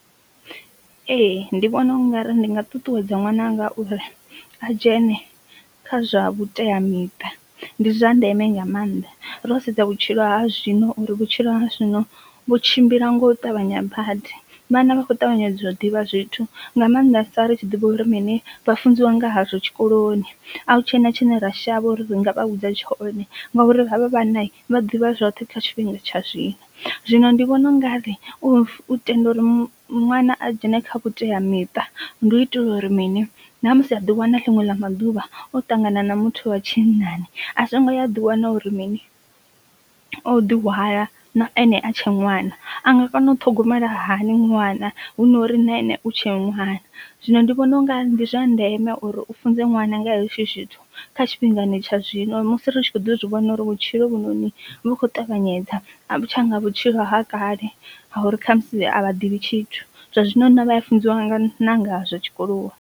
Ee ndi vhona ungari ndi nga ṱuṱuwedza ṅwananga uri a dzhene kha zwa vhuteamiṱa, ndi zwa ndeme nga maanḓa ro sedza vhutshilo ha zwino uri vhutshilo ha zwino vhu tshimbila nga u ṱavhanyedza badi vhana vha kho ṱavhanyedza u ḓivha zwithu nga maanḓasa ri tshi ḓivha uri mini vha funziwa nga hazwo tshikoloni a hu tshena tshine ra shavha uri ri nga vha vhudza tshone ngauri havha vhana vha ḓivha zwoṱhe kha tshifhinga tsha zwino. Zwino ndi vhona u ngari u tenda uri ṅwana a dzhene kha vhutea miṱa ndi u itela uri mini ṋamusi a ḓi wana ḽiṅwe ḽa maḓuvha o ṱangana na muthu wa tshinnani a songo ya a ḓi wana uri mini o ḓi hwala na ane a tshe ṅwana, a nga kona u ṱhogomela hani ṅwana hu nori na ene u tshe ṅwana. Zwino ndi vhona unga ndi zwa ndeme uri u funze ṅwana nga ha hezwo zwithu kha tshifhingani tsha zwino musi ri tshi kho ḓi zwivhona uri vhutshilo hovhunoni vhu kho ṱavhanyedza a vhu tsha nga vhutshilo ha kale ha uri kha musi a vha ḓivhi tshithu zwa zwino na vha ya funziwa nga ṋa ngazwo tshikolo.